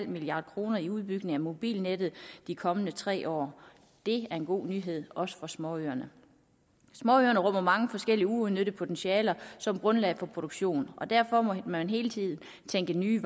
milliard kroner i udbygning af mobilnettet de kommende tre år det er en god nyhed også for småøerne småøerne rummer mange forskellige uudnyttede potentialer som grundlag for produktion og derfor må man hele tiden tænke i nye